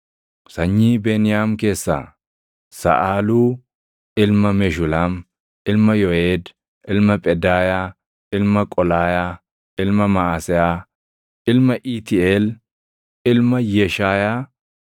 Sanyii Beniyaam keessaa: Saʼaaluu ilma Meshulaam, ilma Yooʼeed, ilma Phedaayaa, ilma Qolaayaa, ilma Maʼaseyaa, ilma Iitiiʼeel, ilma Yeshaayaa,